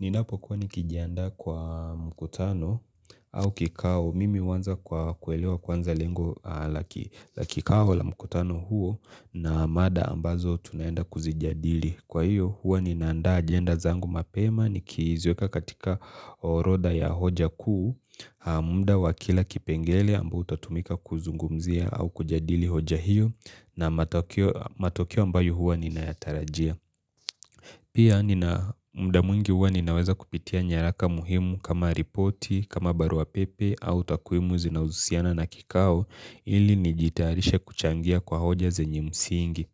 Ninapokuwa nikijiandaa kwa mkutano au kikao. Mimi huanza kwa kuelewa kwanza lengo la kikao la mkutano huo na mada ambazo tunaenda kuzijadili. Kwa hiyo hua nina andaa agenda zangu mapema nikiziweka katika orodha ya hoja kuu, muda wa kila kipengele ambao utatumika kuzungumzia au kujadili hoja hiyo na matokeo ambayo hua ninayatarajia. Pia nina muda mwingi huwa ninaweza kupitia nyaraka muhimu kama ripoti, kama barua pepe au takwimu zinazohusiana na kikao ili nijitayarishe kuchangia kwa hoja zenye msingi.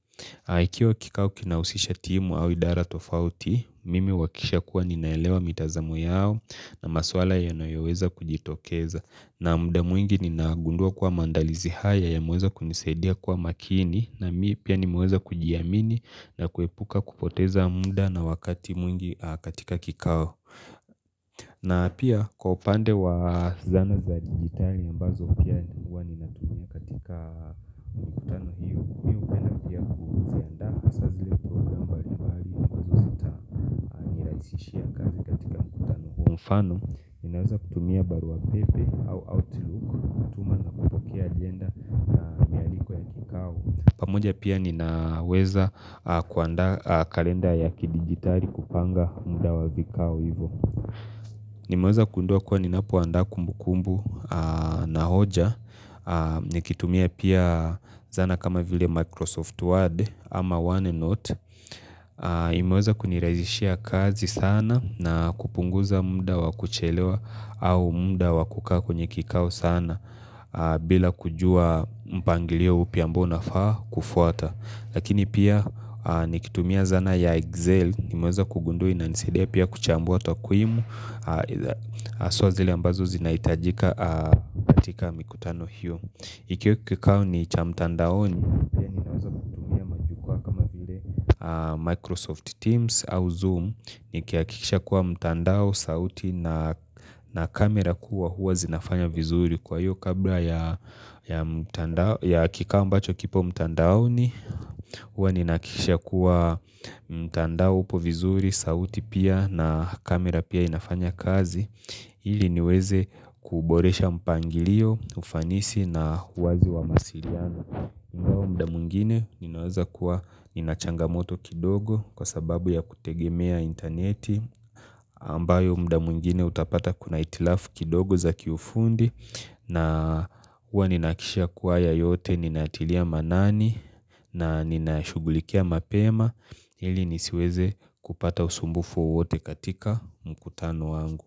Ikiwa kikao kinahusisha timu au idara tofauti, mimi huhakikisha kuwa ninaelewa mitazamo yao na maswala yanayoweza kujitokeza na muda mwingi ninaagundua kua maandalizi haya yameweza kunisadia kua makini na mimi pia nimeweza kujiamini na kuepuka kupoteza muda na wakati mwingi katika kikao. Na pia kwa upande wa zana za digitali ambazo pia ninguwa ni hasa zile programu ambazo zitanirahisishia kazi katika mkutano hiyo mfano, ninaweza kutumia baruapepe au outlook kutuma na kupokea pamoja pia ninaweza kuandaa kalenda ya kidigitali kupanga muda wa vikao hivo Nimeweza kundua kwa nina puanda kumbu kumbu na hoja Nikitumia pia zana kama vile Microsoft Word ama OneNote imeweza kuniraizishia kazi sana na kupunguza mda wakuchelewa au mda wakukaa kwenye kikao sana bila kujua mpangilio upiambao na faa kufuata Lakini pia nikitumia zana ya Excel imeweza kugundua inanisaidia pia kuchambua takwimu Haswa zile ambazo zina hitajika katika mikutano hio ikiwa kama ni cha mtandaoni pia ninaweza kutumia Microsoft Teams au Zoom ni kiakisha kuwa mtandao, sauti na na kamera kuwa huwa zinafanya vizuri Kwa hiyo kabla ya mtand kikao ambacho kipo mtandao ni Huwa ni nakisha kuwa mtandao upo vizuri, sauti pia na kamera pia inafanya kazi ili niweze kuboresha mpangilio, ufanisi na uwazi wa masiliano ingawa mda mwingine ninaweza kuwa ninachangamoto kidogo kwa sababu ya kutegemea interneti ambayo mda mwingine utapata kuna hitilafu kidogo za kiufundi na hua ninakishia kuwaya yote ninatilia manani na ninashughulikia mapema ili nisiweze kupata usumbufu wote katika mkutano wangu.